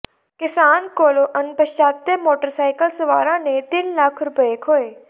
ਕਿਸਾਨ ਕੋਲੋਂ ਅਣਪਛਾਤੇ ਮੋਟਰਸਾਈਕਲ ਸਵਾਰਾਂ ਨੇ ਤਿੰਨ ਲੱਖ ਰੁਪਏ ਖੋਹੇ